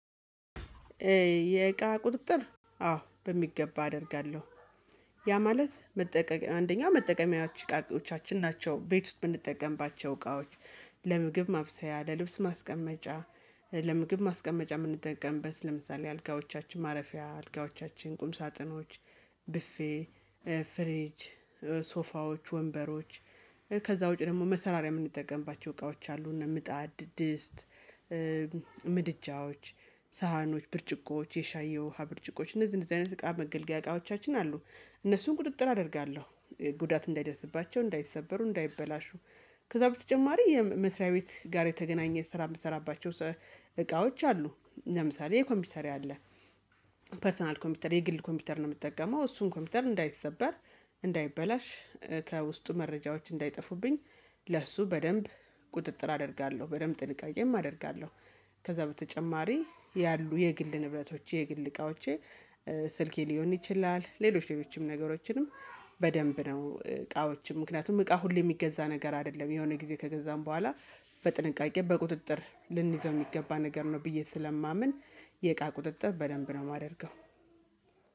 የእቃ ቁጥጥር አዎ በሚገባ አደርጋለሁ። ያ ማለት መጠቀም አንደኛው መጠቀም ያው ቃቂዎቻችን ናቸው ቤት ውስጥ ብንጠቀምባቸው እቃዎች። ለምግብ ማብሰያ ለልብስ ማስቀመጫ ለምግብ ማስቀመጫ የምንጠቀምበት ለምሳሌ አልጋዎቻችን ማረፊያ አልጋዎቻችን ቁም ሳጥኖች ብፌ ፍሬጅ ሶፋዎች ወንበሮች ከዛ ውጪ ደግሞ መሰራሪያ የምንጠቀምባቸው እቃዎች አሉ። እና ምጣድ ድስት ምድጃዎች ሳህኖች ብርጭቆዎች የሻይ የውሃ ብርጭቆች እነዚህ እንደዚህ አይነት እቃ መገልገያ እቃዎቻችን አሉ። እነሱን ቁጥጥር አደርጋለሁ ጉዳት እንዳይደርስባቸው እንዳይሰበሩ እንዳይበላሹ። ከዛ በተጨማሪ የመስሪያ ቤት ጋር የተገናኘ ስራ የምትሰራባቸው እቃዎች አሉ። ለምሳሌ የኮምፒውተር ያለ ፐርሰናል ኮምፒውተር የግል ኮምፒውተር ነው የምትጠቀመው እሱን ኮምፒውተር እንዳይሰበር እንዳይበላሽ ከውስጡ መረጃዎች እንዳይጠፉብኝ። ለእሱ በደንብ ቁጥጥር አደርጋለሁ በደንብ ጥልቅ አየህም አደርጋለሁ። ከዛ በተጨማሪ ያሉ የግል ንብረቶች የግል እቃዎች ስልኬ ሊሆን ይችላል ሌሎች ሌሎችም ነገሮችንም። በደንብ ነው እቃዎችም ምክንያቱም እቃ ሁሌ የሚገዛ ነገር አይደለም የሆነ ጊዜ ከገዛን በኋላ በጥንቃቄ በቁጥጥር ልንይዘው የሚገባ ነገር ነው። ብዬ ስለማምን የእቃ ቁጥጥር በደንብ ነው የማደርገው።